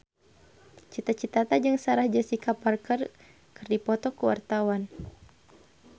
Cita Citata jeung Sarah Jessica Parker keur dipoto ku wartawan